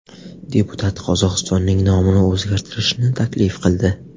Deputat Qozog‘istonning nomini o‘zgartirishni taklif qildi.